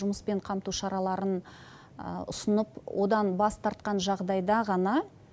жұмыспен қамту шараларын ұсынып одан бас тартқан жағдайда ғана